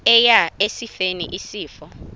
eya esifeni isifo